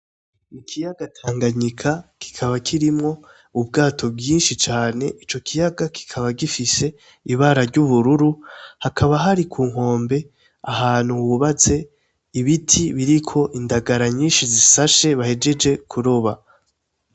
Ikiyaga Tanganyinya kikaba kirimwo ubwato bwinshi cane, ico kiyaga kikaba gifise ibara ry'ubururu, Hakaba hari ku nkombe ahantu hubatse ibiti biriko indagara nyinshi bahejeje kuroba.